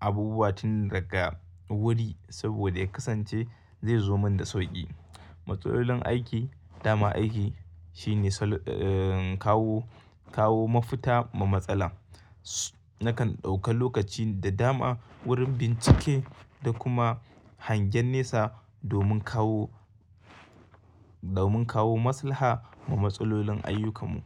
abubuwa tun daga wuri saboda ya kasance zai zo mun da sauƙi. Matsalolin aiki, dama aiki shine kawo, kawo mafita ma matsala. Nakan ɗauka lokaci da dama wurin bincike da kuma hangen nesa domin kawo, domin kawo maslaha ma matsalolin ayyukamu.